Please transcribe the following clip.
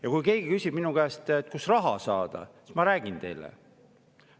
Ja kui keegi küsib minu käest, kust raha saada, siis ma räägin teile.